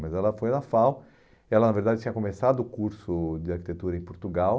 Mas ela foi na FAU, ela na verdade tinha começado o curso de arquitetura em Portugal,